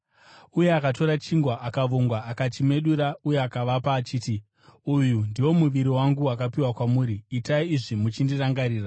Uye akatora chingwa, akavonga akachimedura, uye akavapa, achiti, “Uyu ndiwo muviri wangu wakapiwa kwamuri; itai izvi muchindirangarira.”